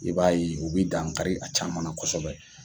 I b'a ye u bi dankari a caman na kosɛbɛ